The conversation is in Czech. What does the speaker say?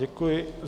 Děkuji.